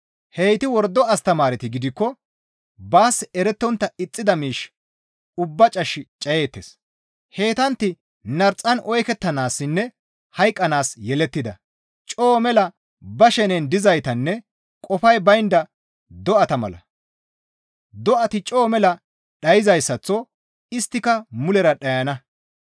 Heyti wordo astamaareti gidikko baas erettontta ixxida miish ubbaa cash cayeettes; heytantti narxan oykettanaassinne hayqqanaas yelettida; coo mela ba shenen dizaytanne qofay baynda do7ata mala; do7ati coo mela dhayzayssaththo isttika mulera dhayana.